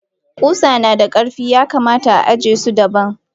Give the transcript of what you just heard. Kusa nada karfi yakamata ajiye su daban.